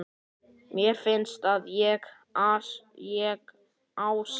Mér finnst að ég, Ási